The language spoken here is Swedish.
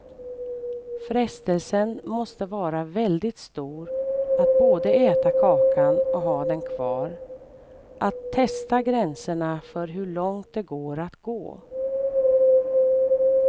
Frestelsen måste vara väldigt stor att både äta kakan och ha den kvar, att testa gränserna för hur långt det går att gå.